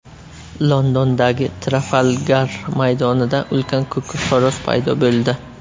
Londondagi Trafalgar maydonida ulkan ko‘k xo‘roz paydo bo‘ldi.